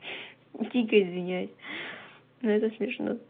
дико извиняюсь но это смешно